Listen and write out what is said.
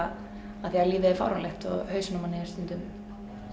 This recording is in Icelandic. af því að lífið er fáránlegt og hausinn á manni er stundum